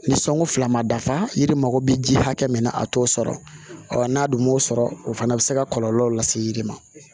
Ni sɔngu fila ma dafa yiri mako be ji hakɛ min na a t'o sɔrɔ ɔɔ n'a dun m'o sɔrɔ o fana be se ka kɔlɔlɔ lase yiri ma